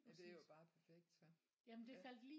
Ja det er jo bare perfekt så ja